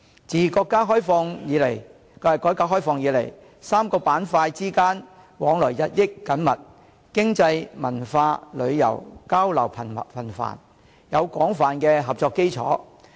自國家改革開放以來 ，3 個板塊之間往來日益緊密，經濟、文化、旅遊交流頻繁，有廣泛的合作基礎。